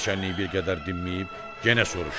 Naçallnik bir qədər dinməyib, yenə soruşdu: